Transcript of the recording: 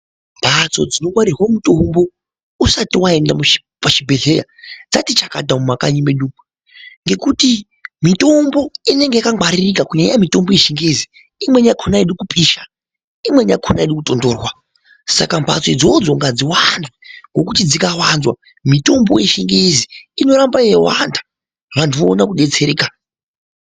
Mbatso dzinongwarirwa mutombo usati waenda muzvibhedhlera dzati chakata mumakanyi medu umo ngekuti mitombo inenge yakangwaririka kunyanya nyanya mitombo yechingezi imweni yakona aidi kupisha, imweni yakona aidi kutontorwa saka mbatso idzodzo ngadziwande ngokuti dzikawanzwa mitombo yechingezi inoramba yeiwanda vantu voone kudetsereka .